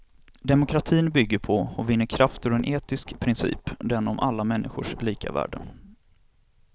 Demokratin bygger på och vinner kraft ur en etisk princip, den om alla människors lika värde.